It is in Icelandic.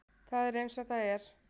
Það er eins og það er.